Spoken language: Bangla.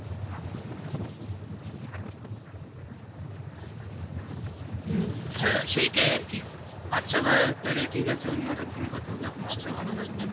হম হ্যাঁ সেটাই আর কি আচ্ছা ভাই তালে ঠিক আছে অন্য আর একদিন কথা হবে আপনার